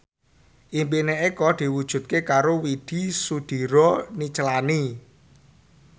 impine Eko diwujudke karo Widy Soediro Nichlany